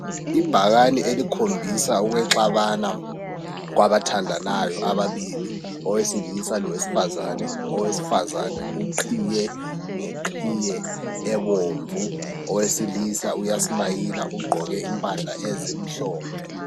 Ibhakani elikhombisa ukwexabana kwabathandanayo ababili owesilisa lowesifazane owesifazane uqhiye ngeqhiye ebomvu owesilisa uyasmayila ugqoke impahla ezimhlophe